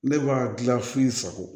Ne b'a dilan f'i sago ye